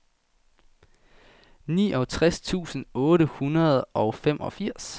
niogtres tusind otte hundrede og femogfirs